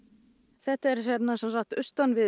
þetta er sem sagt austan við